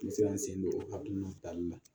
N sera n sen don o hakilina tali la